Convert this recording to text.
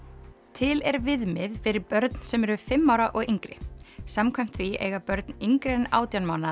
til er viðmið fyrir börn sem eru fimm ára og yngri samkvæmt því eiga börn yngri en átján mánaða